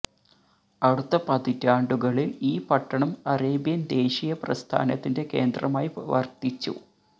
അടുത്ത പതിറ്റാണ്ടുകളിൽ ഈ പട്ടണം അറേബ്യൻ ദേശീയ പ്രസ്ഥാനത്തിന്റെ കേന്ദ്രമായി വർത്തിച്ചു